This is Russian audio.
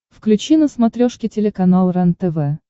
включи на смотрешке телеканал рентв